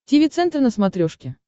тиви центр на смотрешке